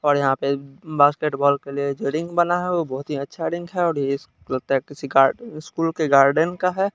और यहां पे बास्केटबॉल के लिए जो रिंग बना है वो बहोत ही अच्छा रिंग है और ये स् लगता है किसी गा स्कूल के गार्डन का है।